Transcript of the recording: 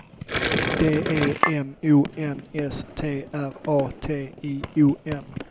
D E M O N S T R A T I O N